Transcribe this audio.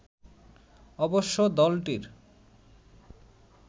অবশ্য দলটির